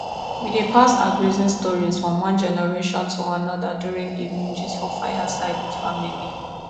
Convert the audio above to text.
we dey pass our grazing stories from one generation to another during evening gist for fireside with family